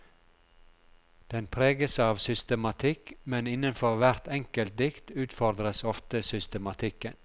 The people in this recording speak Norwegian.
Den preges av systematikk, men innenfor hvert enkelt dikt utfordres ofte systematikken.